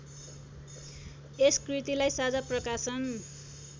यस कृतिलाई साझा प्रकाशन